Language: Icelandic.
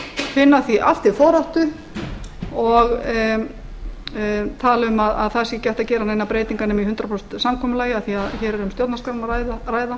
finna því allt til foráttu og tala um að það sé ekki hægt að gera neinar breytingar nema í hundrað prósent samkomulagi af því að hér er um stjórnarskrána að ræða